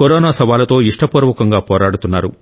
corona సవాలుతో ఇష్టపూర్వకంగా పోరాడుతున్నారు